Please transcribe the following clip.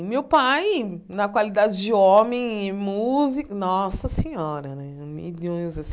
E meu pai, na qualidade de homem e músico... Nossa Senhora né! Milhões assim